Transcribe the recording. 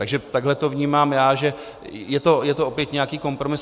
Takže takhle to vnímám já, že je to opět nějaký kompromis.